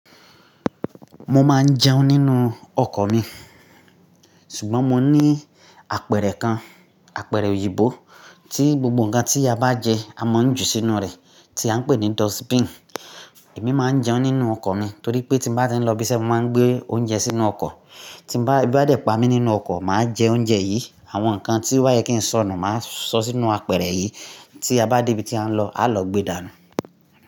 Mo máa ń jẹun nínú ọkọ̀ mi, ṣùgbọ́n mo ní apẹ̀rẹ̀ kan, apẹ̀rẹ̀ òyìnbó tí gbogbo ǹkan tí a bá jẹ a mọ ń jù sínú rẹ̀ tí a ń pè ní dustbin. Èmi máa ń jẹun nínú ọkọ̀ mi torí pé tí mo bá ti ń lọ ibi tí ẹ máa ń gbé oúnjẹ sínú ọkọ̀, tí mo bá, bí ebi dẹ̀ pa mí nínú ọkọ̀, màá jẹ oúnjẹ yìí, àwọn nǹkan tí ó yẹ kí n sọ̀nù màá sọ sínú apẹ̀rẹ̀ yìí tí a bá dé ibi tí a ń lọ, a lọ gbe dànù.